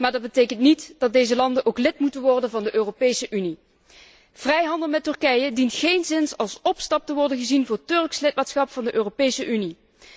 maar dat betekent niet dat deze landen ook lid moeten worden van de Europese Unie. Vrijhandel met Turkije dient geenszins als opstap te worden gezien voor Turks lidmaatschap van de Europese Unie.